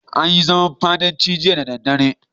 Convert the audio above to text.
An yi zaman fadancin jiya da daddare.